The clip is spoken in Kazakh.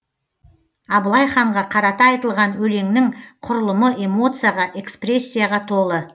абылай ханға қарата айтылған өлеңнің құрылымы эмоцияға экспрессияға толы